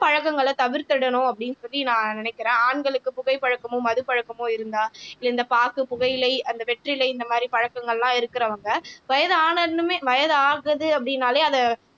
பழக்கங்களை தவிர்த்திடணும் அப்படின்னு சொல்லி நான் நினைக்கிறேன் ஆண்களுக்கு புகை பழக்கமும் மது பழக்கமும் இருந்தா இந்த பாக்கு புகையிலை அந்த வெற்றிலை இந்த மாதிரி பழக்கங்கள்லாம் இருக்கிறவங்க வயது ஆனாலுமே வயது ஆகுது அப்படின்னாலே அதை